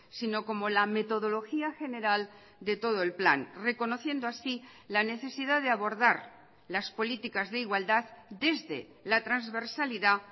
sino como la metodología general de todo el plan reconociendo así la necesidad de abordar las políticas de igualdad desde la transversalidad